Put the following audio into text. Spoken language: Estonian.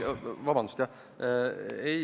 Vabandust!